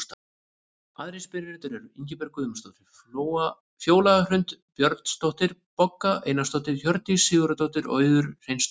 Aðrir spyrjendur eru: Ingibjörg Guðmundsdóttir, Fjóla Hrund Björnsdóttir, Bogga Einarsdóttir, Hjördís Sigurðardóttir og Auður Hreinsdóttir.